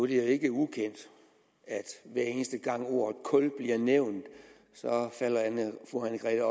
ikke ukendt at hver eneste gang ordet kul bliver nævnt falder fru anne grete